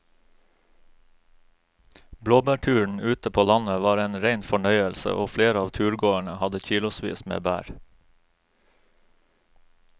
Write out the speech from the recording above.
Blåbærturen ute på landet var en rein fornøyelse og flere av turgåerene hadde kilosvis med bær.